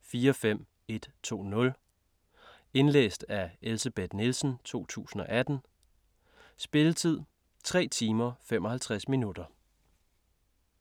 45120 Indlæst af Elsebeth Nielsen, 2018. Spilletid: 3 timer, 55 minutter.